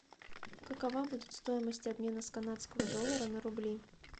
какова будет стоимость обмена канадского доллара на рубли